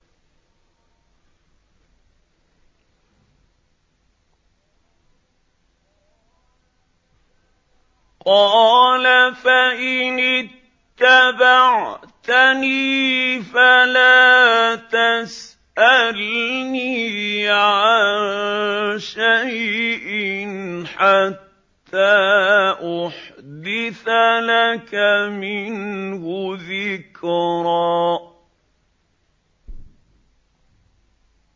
قَالَ فَإِنِ اتَّبَعْتَنِي فَلَا تَسْأَلْنِي عَن شَيْءٍ حَتَّىٰ أُحْدِثَ لَكَ مِنْهُ ذِكْرًا